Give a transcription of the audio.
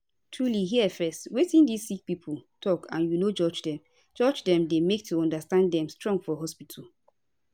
to truly hear fezz wetin di sick pipo talk and u no judge dem judge dem dey make to understand dem strong for hospitol